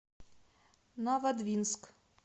новодвинск